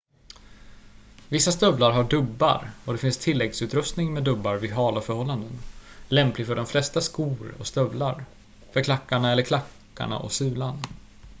vissa stövlar har dubbar och det finns tilläggsutrustning med dubbar vid hala förhållanden lämplig för de flesta skor och stövlar för klackarna eller klackarna och sulan